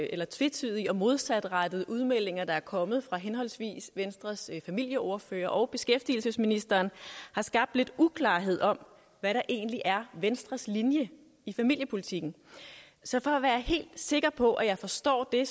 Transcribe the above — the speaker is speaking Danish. lidt tvetydige og modsatrettede udmeldinger der er kommet fra henholdsvis venstres familieordfører og beskæftigelsesministeren har skabt lidt uklarhed om hvad der egentlig er venstres linje i familiepolitikken så for at være helt sikker på at jeg forstår det